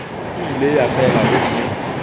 e ile ya fela gomme